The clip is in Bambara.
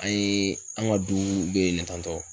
An ye an ka du be yen tantɔ.